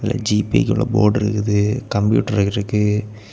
ஜீபேகுள்ள board இருக்குது computer இருக்கு.